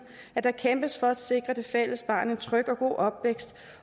at der kæmpes for at sikre det fælles barn en tryg og god opvækst